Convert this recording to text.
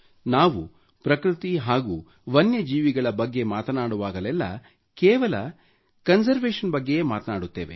ನಾವು ಪ್ರಕೃತಿ ಹಾಗೂ ವನ್ಯ ಜೀವಿಗಳ ಬಗ್ಗೆ ಮಾತನಾಡುವಾಗಲೆಲ್ಲ ಕೇವಲ ಕನ್ಸರ್ವೇಷನ್ ಬಗ್ಗೆಯೇ ಮಾತನಾಡುತ್ತೇವೆ